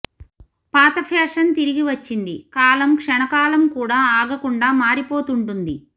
పాత ఫ్యాషన్ తిరిగివచ్చింది కాలం క్షణకాలం కూడా ఆగకుండా మారిపోతుంటుంది